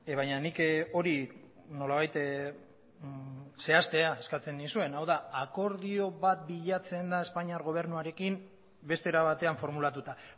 baina nik hori nolabait zehaztea eskatzen nizuen hau da akordio bat bilatzen da espainiar gobernuarekin beste era batean formulatuta